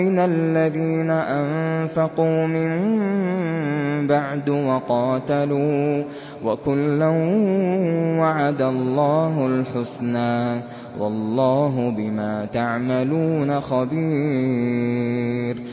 مِّنَ الَّذِينَ أَنفَقُوا مِن بَعْدُ وَقَاتَلُوا ۚ وَكُلًّا وَعَدَ اللَّهُ الْحُسْنَىٰ ۚ وَاللَّهُ بِمَا تَعْمَلُونَ خَبِيرٌ